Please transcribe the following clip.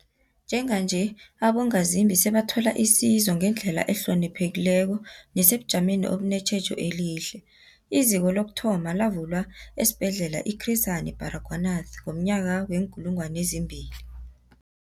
Njenganje, abongazimbi sebathola isizo ngendlela ehloniphekileko nesebujameni obunetjhejo elihle. IZiko lokuthoma lavulwa esiBhedlela i-Chris Hani Baragwanath ngomnyaka we-2000.